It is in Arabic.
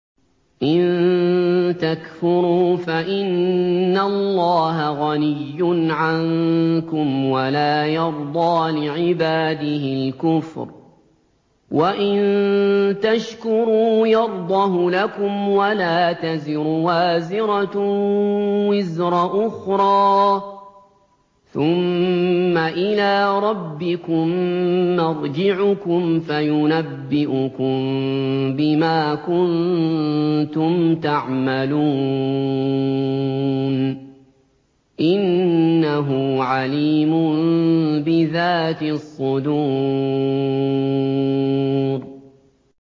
إِن تَكْفُرُوا فَإِنَّ اللَّهَ غَنِيٌّ عَنكُمْ ۖ وَلَا يَرْضَىٰ لِعِبَادِهِ الْكُفْرَ ۖ وَإِن تَشْكُرُوا يَرْضَهُ لَكُمْ ۗ وَلَا تَزِرُ وَازِرَةٌ وِزْرَ أُخْرَىٰ ۗ ثُمَّ إِلَىٰ رَبِّكُم مَّرْجِعُكُمْ فَيُنَبِّئُكُم بِمَا كُنتُمْ تَعْمَلُونَ ۚ إِنَّهُ عَلِيمٌ بِذَاتِ الصُّدُورِ